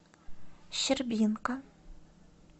щербинка